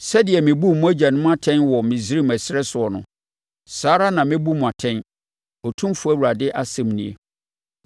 Sɛdeɛ mebuu mo agyanom atɛn wɔ Misraim ɛserɛ soɔ no, saa ara na mɛbu mo atɛn, Otumfoɔ Awurade asɛm nie.